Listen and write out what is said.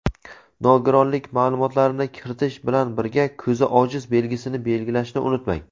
nogironlik ma’lumotlarini kiritish bilan birga "Ko‘zi ojiz" belgisini belgilashni unutmang.